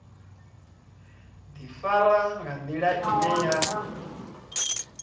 ḓifara nga nḓila ine ya